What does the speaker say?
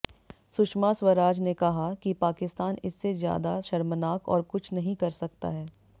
सुषमा स्वराज ने कहा कि पाकिस्तान इससे ज्यादा शर्मनाक और कुछ नहीं कर सकता है